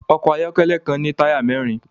Ọkọ̀ ayọ́kẹ́lẹ́ kan ní táyà mẹ́rin